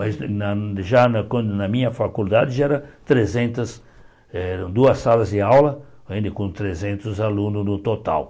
Mas já na quando na minha faculdade já eram trezentas eh duas salas de aula, ainda com trezentos alunos no total.